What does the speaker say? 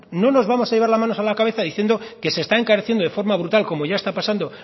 no nos vamos a llevar las manos a la cabeza diciendo que se está encareciendo de forma brutal como ya está pasando